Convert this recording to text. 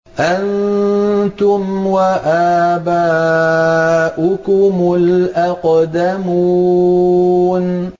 أَنتُمْ وَآبَاؤُكُمُ الْأَقْدَمُونَ